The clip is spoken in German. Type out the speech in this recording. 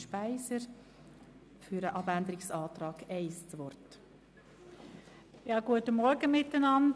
Für den Abänderungsantrag 1 erteile ich das Wort der Antragstellerin.